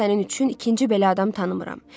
Mən sənin üçün ikinci belə adam tanımıram.